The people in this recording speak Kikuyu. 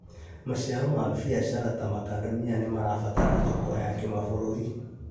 Maciaro ma biacara ta makadamia nĩmarabatara thoko ya kĩmabũrũri